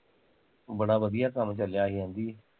ਬੜਾ ਵਧੀਆ ਕੰਮ ਚਲਿਆ ਸੀ ਕਹਿਦੀ